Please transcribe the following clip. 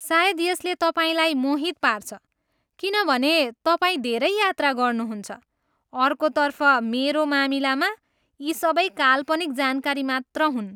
सायद यसले तपाईँलाई मोहित पार्छ किनभने तपाईँ धेरै यात्रा गर्नुहुन्छ, अर्कोतर्फ, मेरो मामिलामा, यी सबै काल्पनिक जानकारी मात्र हुन्।